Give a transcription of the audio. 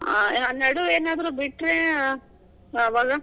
ಹಾ. ನಡುವೆನಾದ್ರೂ ಬಿಟ್ರೆ ಆವಾಗ?